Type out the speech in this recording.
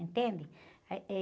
Entende? Ah, eh..